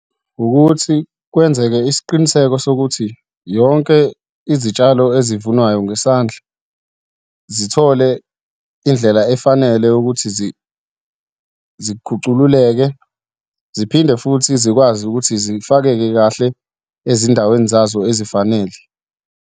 Ukuthi kwenzeke isiqiniseko sokuthi yonke izitshalo ezivunwayo ngesandla zithole indlela efanele ukuthi zikhucululeke ziphinde futhi zikwazi ukuthi zifakeke kahle ezindaweni zazo ezifanele.